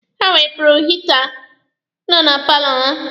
Ha wepụrụ hita nọ na paalọ ha.